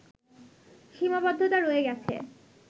সীমাবদ্ধতা রয়ে গেছে